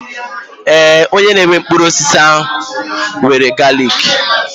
Ee, onye na-ere mkpụrụ osisi ahụ nwere galiki.